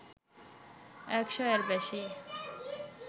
১০০ এর বেশি